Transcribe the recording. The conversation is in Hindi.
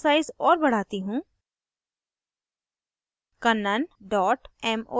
अब मैं font साइज और बढ़ाती हूँ